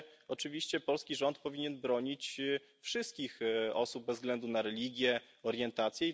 Oczywiście polski rząd powinien bronić wszystkich osób bez względu na religię i orientację.